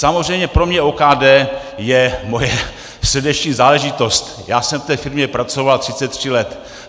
Samozřejmě pro mě OKD je moje srdeční záležitost, já jsem v té firmě pracoval 33 let.